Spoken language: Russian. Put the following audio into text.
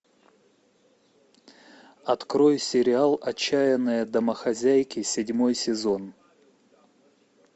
открой сериал отчаянные домохозяйки седьмой сезон